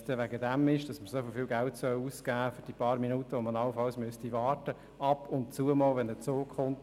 Es geht da doch um ein paar Minuten, die man warten muss, wenn mal ab und zu ein Zug kommt.